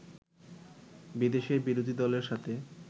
বিদেশের বিরোধী দলের সাথে